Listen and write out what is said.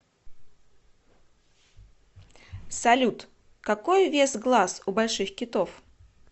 салют какой вес глаз у больших китов